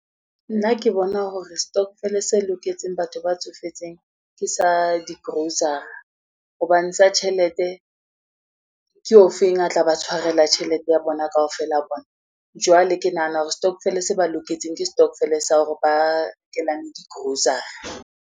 Nna ke bona hore stokvel-e se loketseng batho ba tsofetseng, ke sa di-grocery hobane sa tjhelete ke ofeng a tla ba tshwarela tjhelete ya bona kaofela bona. Jwale ke nahana hore stokvel-e se ba loketseng ke stokvel-e sa hore ba rekelane di-grocery.